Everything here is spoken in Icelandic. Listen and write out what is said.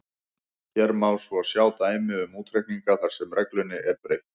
Hér má svo sjá dæmi um útreikninga þar sem reglunni er beitt: